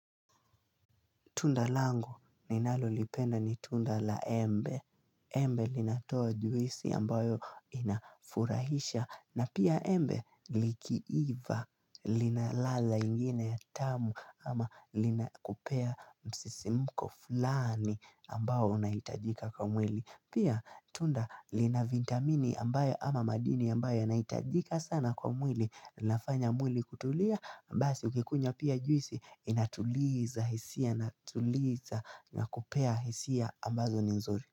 Tunda langu ninalo lipenda ni tunda la embe. Embe linatoa juisi ambayo inafurahisha. Na pia embe likiiva linalala ingine tamu ama lina kupea msisimko fulani ambao unahitajika kwa mwili. Pia tunda linavitamini ambayo ama madini ambayo yanahitajika sana kwa mwili. Lafanya mwili kutulia mbasi ukikunywa pia juisi Inatuliza hisia Inatuliza nakupea hisia ambazo ni nzuri.